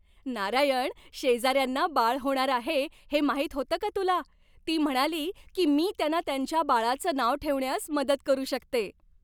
नारायण, शेजाऱ्यांना बाळ होणार आहे हे माहित होतं का तुला? ती म्हणाली की मी त्यांना त्यांच्या बाळाचं नाव ठेवण्यास मदत करू शकते.